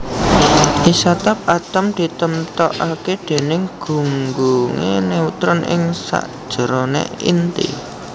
Isotop atom ditemtokaké déning gunggungé neutron ing sakjeroné inti